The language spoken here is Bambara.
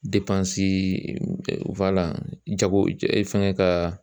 jago fɛngɛ ka